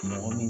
Mɔgɔ min